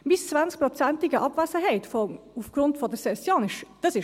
Meine 20-prozentige Abwesenheit aufgrund der Session ist bereits ein Thema.